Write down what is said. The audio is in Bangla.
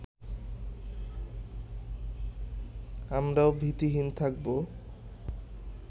আমরাও ভীতিহীন খাকবো